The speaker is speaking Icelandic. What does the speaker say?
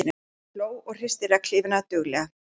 Hún hló og hristi regnhlífina duglega.